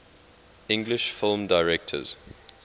english film directors